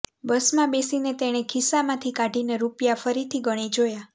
બસમાં બેસીને તેણે ખિસ્સામાંથી કાઢીને રૂપિયા ફરીથી ગણી જોયા